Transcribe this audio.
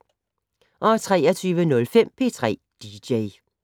23:05: P3 dj